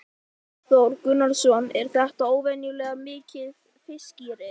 Kristján Már: Hefur þú séð þessa tilhneigingu sjálfur?